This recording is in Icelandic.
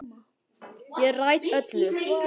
Ég ræð öllu.